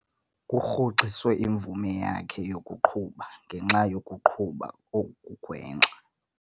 Kurhoxiswe imvume yakhe yokuqhuba ngenxa yokuqhuba okugwenxa.